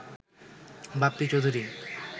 Bappi Chowdhury